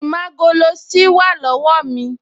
Ìmágoloṣí wà lọ́wọ́ mi